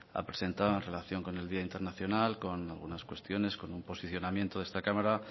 ha presentado en relación con el día internacional y con algunas cuestiones con un posicionamiento de esta cámara